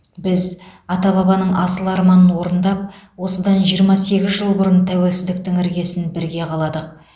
біз ата бабаның асыл арманын орындап осыдан жиырма сегіз жыл бұрын тәуелсіздіктің іргесін бірге қаладық